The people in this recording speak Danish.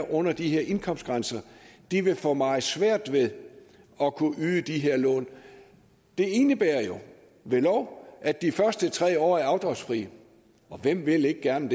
under de her indkomstgrænser vil få meget svært ved at kunne yde de her lån det indebærer jo ved lov at de første tre år er afdragsfri og hvem vil ikke gerne